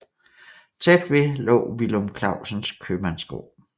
Tæt ved lå Villum Clausens købmandsgård